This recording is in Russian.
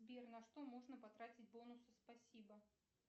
сбер на что можно потратить бонусы спасибо